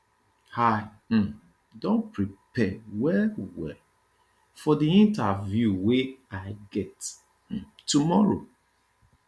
i um don prepare wellwell for di interview wey i get um tomorrow